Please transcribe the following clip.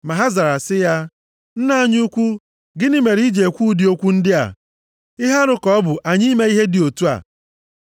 Ma ha zara sị ya, “Nna anyị ukwu, gịnị mere i ji ekwu ụdị okwu ndị a? Ihe arụ ka ọ bụ anyị ime ihe dị otu a.